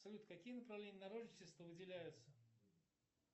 салют какие направления народничества выделяются